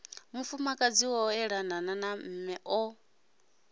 mufukadzi o ṱalaho mme o